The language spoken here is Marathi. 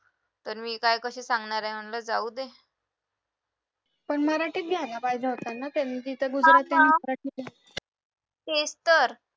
तर मी काय कशी सांगणारे म्हणलं जाऊ दे तेच तर